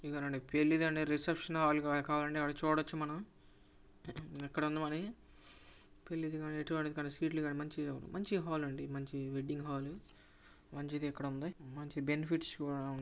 ఇదొక పెళ్లి గని రిసెప్షన్ హాలు గని చూడొచ్చు మనం. ఇక్కడుంది మరి పెళ్లి గని ఎటువంటి సీట్ లు గనిమంచి మంచి హాలు ఇది మంచి వెడ్డింగ్ హాల్ మంచిది ఇక్కడుంది. బెనిఫిట్స్ కూడా --